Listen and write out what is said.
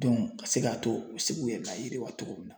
ka se k'a to u bi se k'u yɛrɛ layiriwa cogo min na